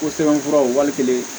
Ko sɛbɛnfuraw wali kelen